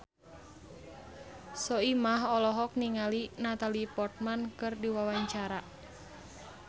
Soimah olohok ningali Natalie Portman keur diwawancara